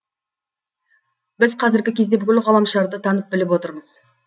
біз қазіргі кезде бүкіл ғаламшарды танып біліп отырмыз